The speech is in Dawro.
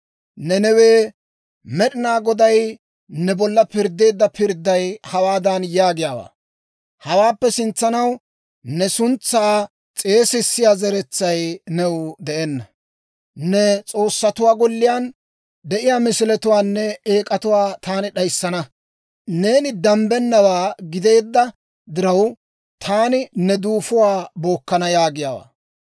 Nanawee, Med'inaa Goday ne bolla pirddeedda pirdday hawaadan yaagiyaawaa; «Hawaappe sintsanaw ne suntsaa s'eesissiyaa zeretsay new de'enna. Ne s'oossatuwaa golliyaan de'iyaa misiletuwaanne eek'atuwaa taani d'ayissana. Neeni dambbennawaa gideedda diraw, taani ne duufuwaa bookkana» yaagiyaawaa.